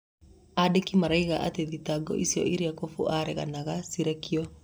Andĩki moigaga atĩ thitango icio, iria Kumbũ areganaga, cirekio.